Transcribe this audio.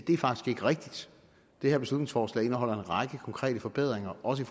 rigtigt det her beslutningsforslag indeholder en række konkrete forbedringer også i